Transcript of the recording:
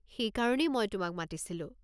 সেইকাৰণেই মই তোমাক মাতিছিলো।